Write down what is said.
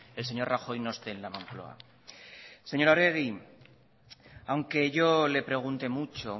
el señor rajoy no esté en la moncloa señora arregi aunque yo le pregunte mucho